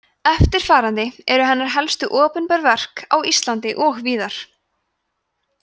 eftirfarandi eru hennar helstu opinber verk á íslandi og víðar